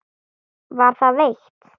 Var það veitt.